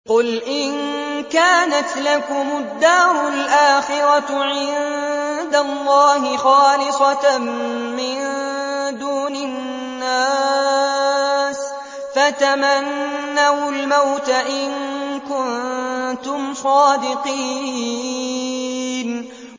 قُلْ إِن كَانَتْ لَكُمُ الدَّارُ الْآخِرَةُ عِندَ اللَّهِ خَالِصَةً مِّن دُونِ النَّاسِ فَتَمَنَّوُا الْمَوْتَ إِن كُنتُمْ صَادِقِينَ